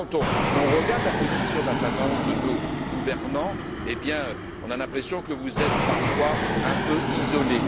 Quand nous regardons la position d'un certain nombre de nos gouvernants, nous avons l'impression que vous êtes parfois un peu isolée.